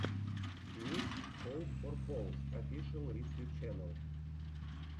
микс хоуп фор поус офишэл рискью ченнел